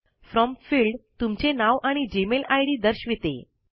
from field तुमचे नाव आणि जीमेल आईडी दर्शविते